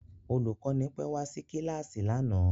Olùkọ́ni pẹ́ wá sí kíláàsì lánàá